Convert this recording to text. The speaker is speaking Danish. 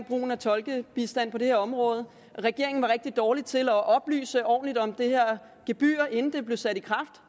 brugen af tolkebistand på det her område regeringen var rigtig dårlig til at oplyse ordentligt om det her gebyr inden det blev sat i